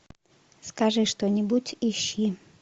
скажи что нибудь ищи